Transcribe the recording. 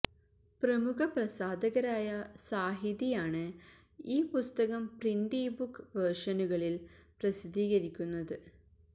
പ്രമുഖ പ്രസാധകരായ സാഹിതി ആണ് ഈ പുസ്തകം പ്രിന്റ് ഇ ബുക്ക് വേർഷനുകളിൽ പ്രസിദ്ധീകരിക്കുന്നത്